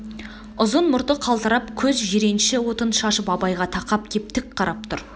ұзын мұрты қалтырап көз жиренші отын шашып абайға тақап кеп тік қарап тұр